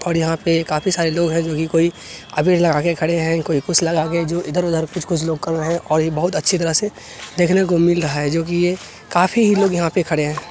और यहाँ पे काफी सारे लोग है जो की कोई अबीर लगा के खड़े है कोई कुछ लगा के जो इधर-उधर कुछ-कुछ लोग खड़े हैं और ये बहुत अच्छी तरह से देखने को मिल रहा है जो की ये काफी ही लोग यहाँ पे खड़े है।